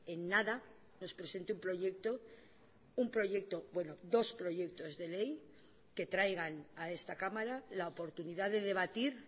en nada nos presente un proyecto un proyecto bueno dos proyectos de ley que traigan a esta cámara la oportunidad de debatir